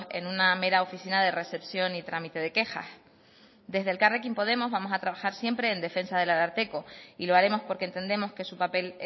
en una mera oficina de recepción y trámite de quejas desde elkarrekin podemos vamos a trabajar siempre en defensa del ararteko y lo haremos porque entendemos que su papel